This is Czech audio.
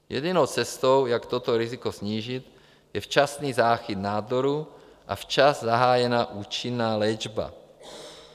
Jedinou cestou, jak toto riziko snížit, je včasný záchyt nádoru a včas zahájená účinná léčba.